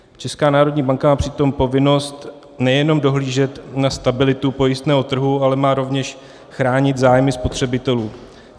Česká národní banka má přitom povinnost nejenom dohlížet na stabilitu pojistného trhu, ale má rovněž chránit zájmy spotřebitelů.